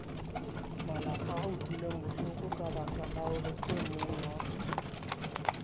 malapaa utlwilengbohloko kabaka la horeemongwa